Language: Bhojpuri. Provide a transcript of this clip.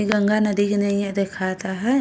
इ गंगा नदी के नइया दिखाता है।